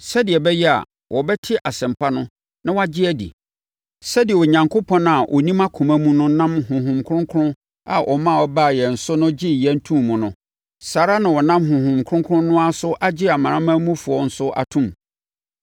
Sɛdeɛ Onyankopɔn a ɔnim akoma mu no nam Honhom Kronkron a ɔma ɛbaa yɛn mu no so gyee yɛn too mu no, saa ara na ɔnam Honhom Kronkron no ara so agye amanamanmufoɔ nso atom.